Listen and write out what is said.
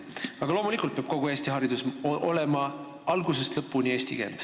Aga loomulikult peab kogu Eesti haridus olema algusest lõpuni eestikeelne.